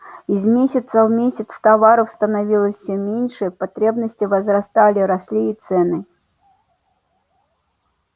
из месяца в месяц товаров становилось всё меньше потребности возрастали росли и цены